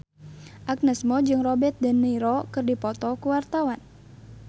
Agnes Mo jeung Robert de Niro keur dipoto ku wartawan